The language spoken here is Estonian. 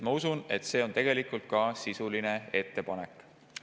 Ma usun, et see on ka sisuline ettepanek.